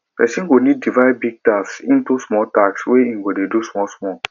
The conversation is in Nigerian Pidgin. person go need to divide big tasks into small tasks wey im go fit do small small